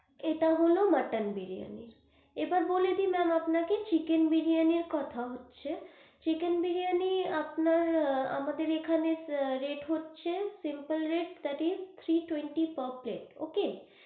এটা হলো মটন বিরিয়ানির এবার বলে দি maam আপনাকে চিকেন বিরিয়ানির কথা হচ্ছে চিকেন বিরিয়ানি আপনার, আমাদের এখানে rate হচ্ছে simple rate hmm three twenty per plate.